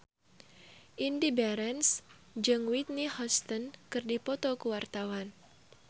Indy Barens jeung Whitney Houston keur dipoto ku wartawan